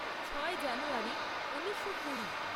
ছয় জানুয়ারী ঊনিশো কুড়ি